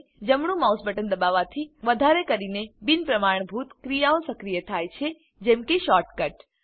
જમણું mouse button દબાવવાથી વધારે કરીને બિન પ્રમાણભૂત ક્રિયાઓ સક્રિય થાય છે જેમ કે શોર્ટકટ